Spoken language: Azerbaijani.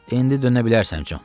İndi dönə bilərsən, Con.